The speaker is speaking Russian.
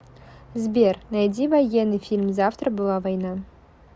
сбер найди военный фильм завтра была война